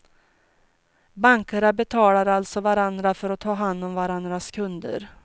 Bankerna betalar alltså varandra för att ta hand om varandras kunder.